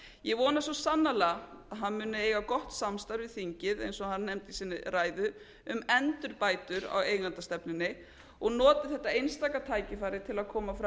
ég vona svo sannarlega að hann muni eiga gott samstarf við þingið eins og hann nefndi í sinni ræðu um endurbætur á eigendastefnunni og noti þetta einstaka tækifæri til að koma fram